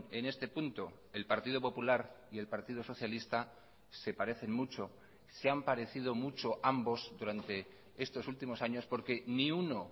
en este punto el partido popular y el partido socialista se parecen mucho se han parecido mucho ambos durante estos últimos años porque ni uno